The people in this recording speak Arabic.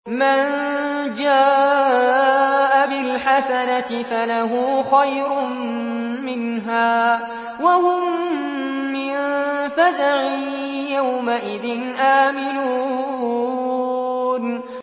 مَن جَاءَ بِالْحَسَنَةِ فَلَهُ خَيْرٌ مِّنْهَا وَهُم مِّن فَزَعٍ يَوْمَئِذٍ آمِنُونَ